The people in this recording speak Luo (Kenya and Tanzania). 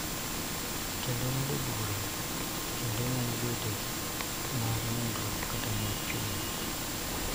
Kendo ng�ado bura kendo nyalo bedo bende mar nindruok kata mar chuny.